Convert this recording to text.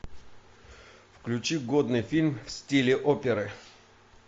включи годный фильм в стиле оперы